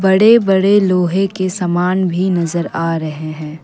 बड़े बड़े लोहे के सामान भी नजर आ रहे हैं।